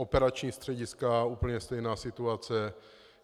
Operační střediska - úplně stejná situace.